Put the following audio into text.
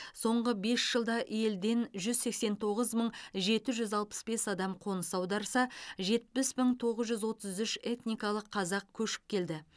соңғы бес жылда елден жүз сексен тоғыз мың жеті жүз алпыс бес адам қоныс аударса жетпіс мың тоғыз жүз отыз үш этникалық қазақ көшіп келді